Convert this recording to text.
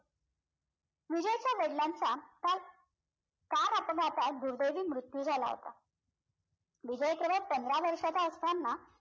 विजयच्या वडलांचा car car अपघातात दुर्दैवी मृत्यू झाला होता विजय केवळ पंधरा वर्षांचा असताना